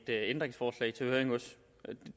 ændringsforslag til høring hos